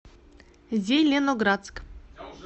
зеленоградск